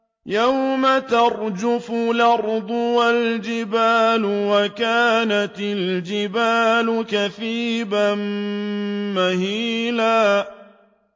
يَوْمَ تَرْجُفُ الْأَرْضُ وَالْجِبَالُ وَكَانَتِ الْجِبَالُ كَثِيبًا مَّهِيلًا